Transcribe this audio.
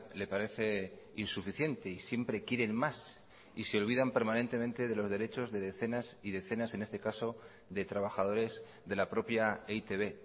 le parece insuficiente y siempre quieren más y se olvidan permanentemente de los derechos de decenas y decenas en este caso de trabajadores de la propia e i te be